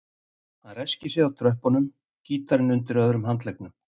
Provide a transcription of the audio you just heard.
Hann ræskir sig á tröppunum, gítarinn undir öðrum handleggnum.